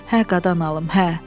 Hə qadan alım, hə.